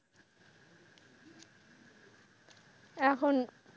এখন,